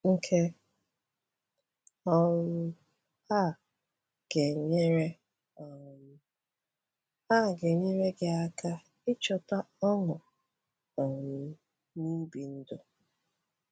Nke um a ga-enyere um a ga-enyere gị aka ịchọta ọṅụ um n’ibi ndụ.”